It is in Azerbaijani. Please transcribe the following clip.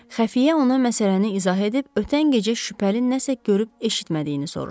Xəfiyyə ona məsələni izah edib ötən gecə şübhəli nəsə görüb eşitmədiyini soruşdu.